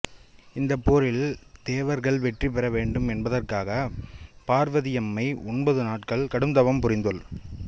இந்தப் போரில் தேவர்கள் வெற்றி பெற வேண்டும் என்பதற்காக பார்வதியம்மை ஒன்பது நாட்கள் கடும் தவம் புரிந்தாள்